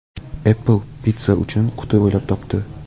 Apple pitssa uchun quti o‘ylab topdi.